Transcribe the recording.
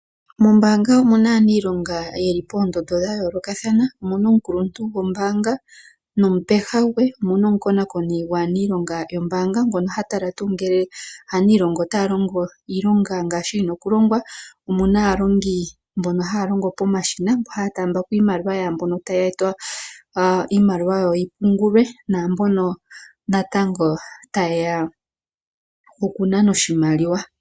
Mombanga omuna aanilonga yeli poondondo dhayoolokathana omuna omukuluntu goombaga nomupeha gwe. Omuna omukonakoni gwaanilonga yombanga ngono ha tala tuu ngele aanilonga ota longo tuu iilonga ngaashi yina oku longwa. Omuna aalongi mbono haya longo pomashina mbono haya taamba ko iimaliwa yaambono haya eta iimaliwa yawo yi pungulwe naambono natango tayeya oku nana oshimaliwa.